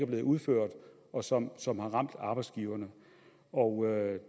blevet udført og som som har ramt arbejdsgiverne og